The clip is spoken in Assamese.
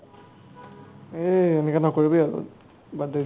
এই তেনেকা নকৰিবি আৰু বাদ দে